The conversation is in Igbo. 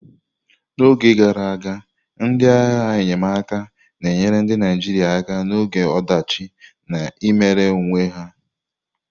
N'oge gara aga, ndị agha enyemaka na-enyere ndị Naijiria aka n'oge ọdachi na-emere onwe ya.